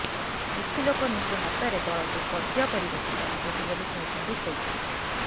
କିଛି ଲୋକ ନିଜ ହାତରେ ଦଳକୁ କବ୍ଜା କରିବାକୁ ଚାହୁଁଛନ୍ତି ବୋଲି କହିଛନ୍ତି ବୈଜୟନ୍ତ